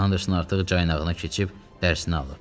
Andersin artıq caynağına keçib, dərsini alıb.